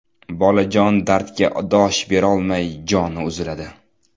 Bolajon dardga dosh berolmay joni uziladi.